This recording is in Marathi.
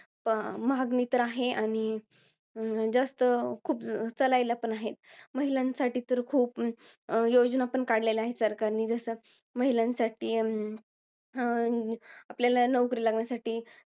मागणी तर आहे आणि जास्त, खूप चालायला पण आहे. महिलांसाठी तर खूप योजनापण काढलेल्या आहेत सरकारनं. जसं महिलांसाठी अं अं आपल्याला नोकरी लागण्यासाठी